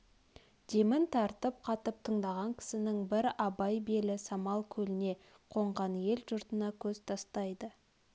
демін тартып қатып тыңдаған кісінің бір абай белі самал көлне қонған ел-жұртына көз тастайды